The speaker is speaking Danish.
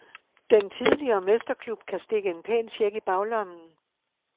Den tidligere mesterklub kan stikke en pæn check i baglommen.